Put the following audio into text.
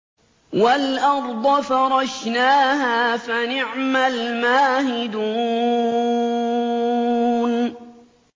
وَالْأَرْضَ فَرَشْنَاهَا فَنِعْمَ الْمَاهِدُونَ